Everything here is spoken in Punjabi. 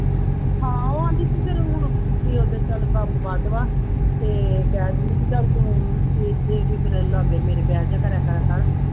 ਹਾਂ ਉਹ aunty ਕੀ ਕਰੂ ਹੁਣ, ਬਈ ਉੱਧਰ ਚੱਲ ਕੰਮ ਵੱਧ ਵਾ ਅਤੇ ਕਹਿ ਦਿੰਦੀ ਕਿ ਚੱਲ ਤੂੰ ਲਾਗੇ ਮੇਰੇ ਬਹਿ ਜਾਇਆ ਕਰਿਆ ਕਰ